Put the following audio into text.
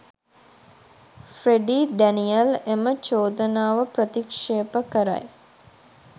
Freddie Daniel එම චෝදනාව ප්‍රතික්ෂේප කරයි